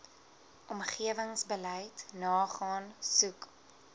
omgewingsbeleid nagaan soek